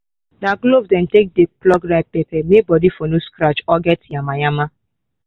na gloves dey take dey pluck ripe pepper may body for no scratch or get nyamanyama